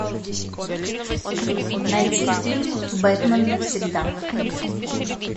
найти фильм бэтмен навсегда